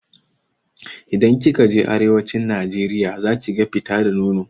Idan kika je arewacin najeriya zakiga fita da nono.